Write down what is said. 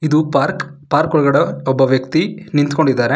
ಇದು park park ಒಳಗಡೆ ಒಬ್ಬ ವ್ಯಕ್ತಿ ನಿಂತ್ಕೊಂಡಿದಾರೆ.